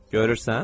Görürsən?